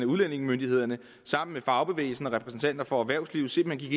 udlændingemyndighederne sammen med fagbevægelsen og repræsentanter for erhvervslivet simpelt